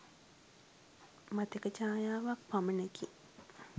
මතක ඡායාවක් පමණකි.